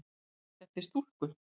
Lýst eftir stúlku